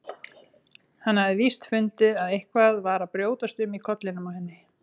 Hann hafði víst fundið að eitthvað var að brjótast um í kollinum á henni.